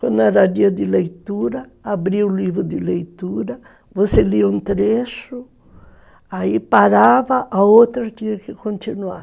Quando era dia de leitura, abria o livro de leitura, você lia um trecho, aí parava, a outra tinha que continuar.